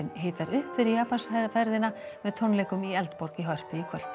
hitar upp fyrir Japansferðina með tónleikum í Eldborg í Hörpu í kvöld